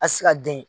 A ti se ka den